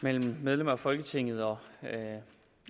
mellem medlemmer af folketinget og